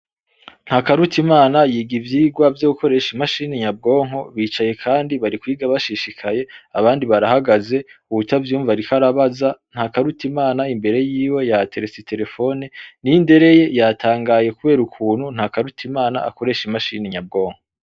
Ntakarutimana yiga ivyigwa vyo gukoresha imashini nyabwonko bicaye kandi bari kwiga bashishikaye abandi barahagaze uwutavyumva ariko arabaza, Ntakarutimana imbere yiwe yahaterese iterefone Nindereye yatangaye, kubera ukuntu Ntakarutimana akoresha imashini nyabwonko.